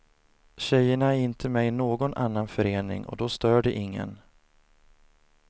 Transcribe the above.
Tjejerna är inte med i någon annan förening och då stör det ingen.